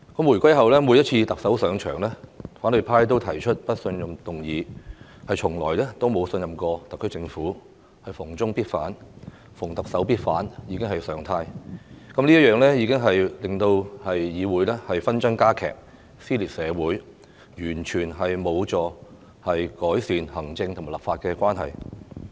回歸後，每一任特首上場，反對派都提出不信任議案，從來沒有信任過特區政府，逢中必反，逢特首必反已成常態，這樣只會令議會紛爭加劇，撕裂社會，完全無助改善行政和立法關係。